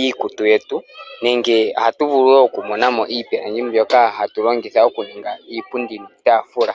iikutu yetu, nenge ohatu vulu wo oku monamo iipilangi mbyoka hatu longitha okuninga iipundi niitafula.